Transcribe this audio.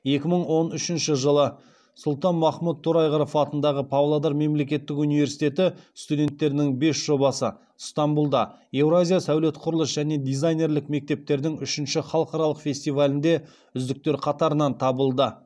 екі мың он үшінші жылы сұлтанмахмұт торайғыров атындағы павлодар мемлекеттік университеті студенттерінің бес жобасы стамбулда еуразия сәулет құрылыс және дизайнерлік мектептердің үшінші халықаралық фестивалінде үздіктер қатарынан табылды